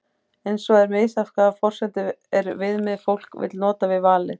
eins er misjafnt hvaða forsendur eða viðmið fólk vill nota við valið